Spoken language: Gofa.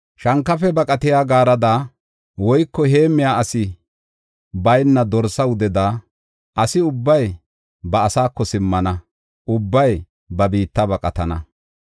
Shankafe baqatiya gaarada woyko heemmiya asi bayna dorsa wudeda asi ubbay ba asaako simmana; ubbay ba biitta baqatana.